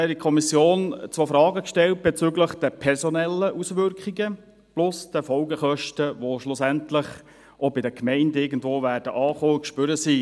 In der Kommission stellte ich zwei Fragen bezüglich der personellen Auswirkungen plus der Folgekosten, die schlussendlich auch bei den Gemeinden irgendwo ankommen und spürbar werden.